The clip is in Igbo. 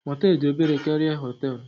Mọtel dị obere karịa Họtelu